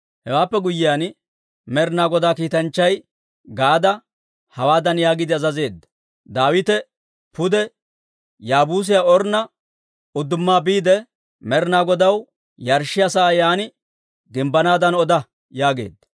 Hewaappe guyyiyaan, Med'inaa Godaa kiitanchchay Gaade hawaadan yaagiide azazeedda; «Daawite pude Yaabuusiyaa Ornna udduma biide, Med'inaa Godaw yarshshiyaa sa'aa yaan gimbbanaadan oda» yaageedda.